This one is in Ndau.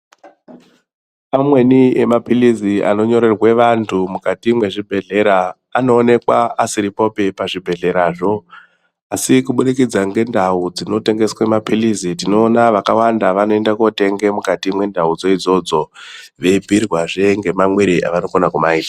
Amweni emaphilizi anonyorerwe vantu mukati mwezvibhedhlera anoonekwa asiripopi pazvibhebhedhlerazvo asi kuburikidza ngendau dzinotengeswa maphilizi tinoona vakawanda vanoende kotenge mukati mwendaudzo idzodzo veibhiirwazve nhemamwire avanofana kumaita.